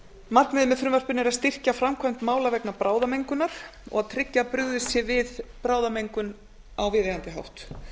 markmiðið með frumvarpinu er að styrkja framkvæmd mála vegna bráðamengunar og að tryggja að brugðist sé við bráðamengun á viðeigandi hátt